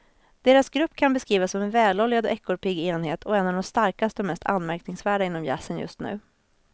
Deras grupp kan beskrivas som en väloljad och ekorrpigg enhet och en av de starkaste och mest anmärkningsvärda inom jazzen just nu.